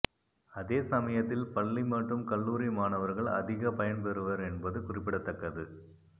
அதே சமயத்தில் பள்ளி மற்றும் கல்லூரி மாணவர்கள் அதிக பயன்பெறுவர் என்பது குறிப்பிடத்தக்கது